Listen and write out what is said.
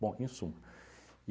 Bom, em suma.